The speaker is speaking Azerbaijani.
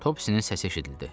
Topsinin səsi eşidildi.